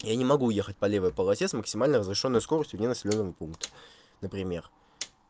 я не могу ехать по левой полосе с максимальной разрешённой скоростью вне населённый пункт например